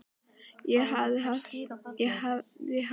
Ég hafði haft um annað að hugsa.